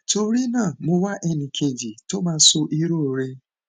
torí náà mo wá ẹni kejì tó máa sọ èrò rẹ